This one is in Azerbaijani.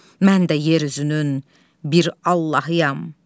Mən də yer üzünün bir Allahıyam.